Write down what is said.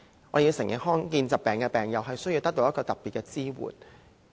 我們要承認，罕見疾病的病友需要得到特別的支援。